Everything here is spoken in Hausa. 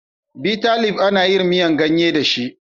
Bitalib ana yin miyar gayye da shi.